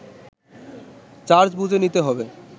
charge বুঝে নিতে হবে